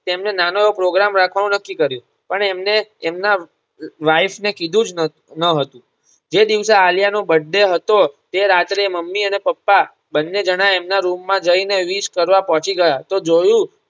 તેમણે નાનો એવો પ્રોગ્રામ રાખવાનું નક્કી કર્યું પણ એમને એમના wife ને કીધું જ નહ નહતું. જે દિવસે આલિયાનો birthday હતો તે રાત્રે મમ્મી અને પપ્પા બંને જણા એમના રૂમ માં જઈને wish કરવા પહોંચી ગયા તો જોયું